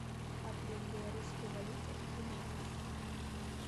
обмен белорусской валюты в гривнах